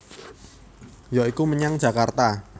Ya iku menyang Jakarta